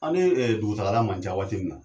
Ale dugutagala man ca waati min na